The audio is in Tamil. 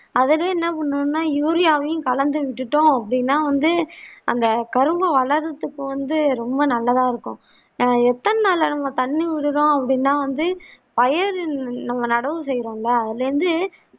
அதுவே என்ன பண்ணனும்னா யூரியாவையும் கலந்து விட்டுட்டோம் அப்படின்னா வந்து அந்த கரும்பு வளர்வதற்கு வந்து ரொம்ப நல்லதா இருக்கும் எர் எத்தனை நாட்களுக்கு நம்ம தண்ணி ஊத்துறோம் அப்படின்னா வந்து பயற நம்ம நடவு செய்ரோம் இல்ல அதுல இருந்து